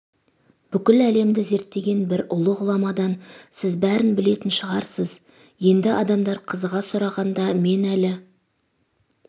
бүкіл әлемді зерттеген бір ұлы ғұламадан сіз бәрін білетін шығарсыз енді адамдар қызыға сұрағанда мен әлі